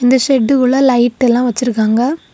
இந்த ஷெட்டுகுள்ள லைட் எல்லா வச்சிருக்காங்க.